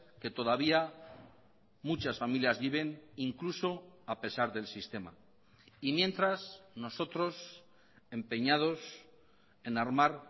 que todavía muchas familias viven incluso a pesar del sistema y mientras nosotros empeñados en armar